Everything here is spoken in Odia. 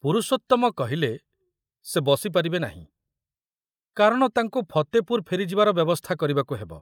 ପୁରୁଷୋତ୍ତମ କହିଲେ ସେ ବସି ପାରିବେ ନାହିଁ, କାରଣ ତାଙ୍କୁ ଫତେପୁର ଫେରିଯିବାର ବ୍ୟବସ୍ଥା କରିବାକୁ ହେବ।